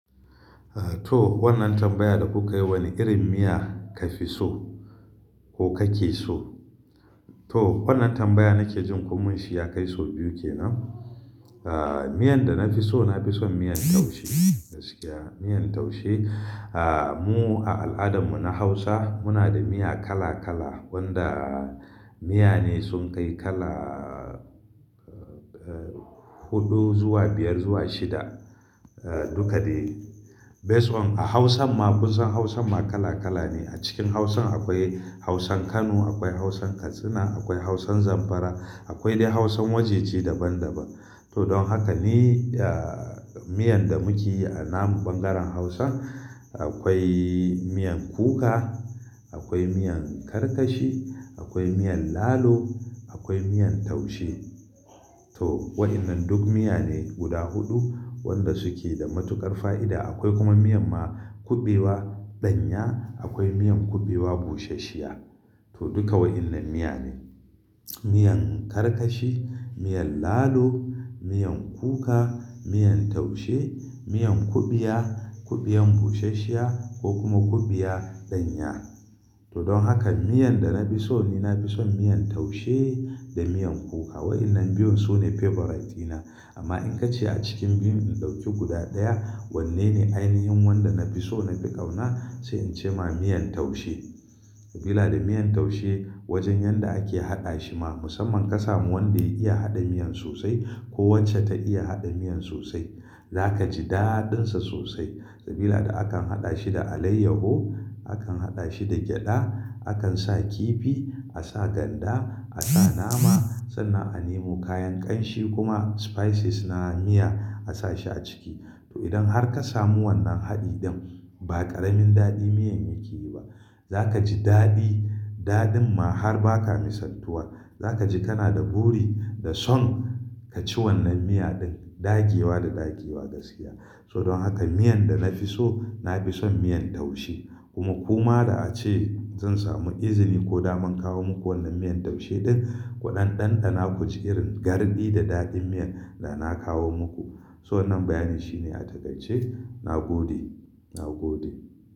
To wannan tambaya da kuka yi wani irin miya ka fi so ko ka ke so? To wannan tambaya nake jin kuma shi ya kai sau biyu kenan. Ah miyan da na fi so, na fi son miyan taushe gaskiya, miyan taushe. Ah mu a al'adarmu na Hausa muna da miya kala kala wanda miya ne sun kai kalaa eh hudu zuwa biyar zuwa shida. Eh dukka dai. Best one a Hausan ma kun san Hausan ma kala kala ne. A cikin Hausan akwai Hausan Kano, akwai Hausan Katsina, akwai Hausan Zamfara, akwai dai Hausan wajeje daban daban. To don haka ni ah miyan da muke yi a namu ɓangaren Hausan akwai miyan kuka, akwai miyan karkashi, akwai miyan lalo, akwai miyan taushe. To wa'innan duk miya ne guda huɗu wanda suke da matuƙar fa'ida. Akwai kuma miyan ma kuɓewa ɗanya, akwai miyan kuɓewa bushashiya. To dukka wa'innan miya ne. Miyan karkashi, miyan lalo, miyan kuka, miyan taushe, miyan kuɓiya, kuɓewan bushashiya ko kuma kuɓiya ɗanya. To don haka miyan da na fi so ni na fi son miyan taushe da miyan kuka. Wa'innan biyun su ne favorite dina. Amma in ka ce a cikin biyun in ɗauki guda ɗaya, wanne ne ainihin wanda na fi so na fi ƙauna sai in ce ma miyan taushe. Sabila da miyan taushe wajen yanda ake haɗa shi ma musamman ka samu wanda ya iya haɗa miyan sosai ko wacce ta iya haɗa miyan sosai, za ka ji daɗinsa sosai. Sabila da akan haɗa shi da alayyaho, akan haɗa shi da gyaɗa, akan sa kifi, a sa ganda, a sa nama, sannan a nemo kayan ƙanshi kuma spices na miya a sa shi a ciki. To idan har ka samu wannan haɗi ɗin ba ƙaramin daɗin miyan yake yi ba. Za ka ji daɗi, daɗin ma har ba ka mi santuwa. Za ka ji kana da buri da son ka ci wannan miya ɗin ɗakewa da ɗakewa gaskiya. To don haka miyan da na fi so, na fi son miyan taushe. Kuma ko ma da ace zan samu izini ko da mun kawo muku wannan miyan taushe ɗin ku ɗan ɗanɗana ku ji irin garɗi da daɗin miyan da na kawo muku. To wannan bayani shi ne a takaice na gode, na gode.